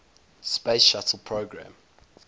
space shuttle program